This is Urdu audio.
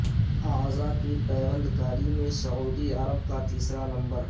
اعضاکی پیوند کاری میں سعودی عرب کا تیسرا نمبر